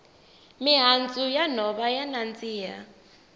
mihandzu ya nhova ya nandziha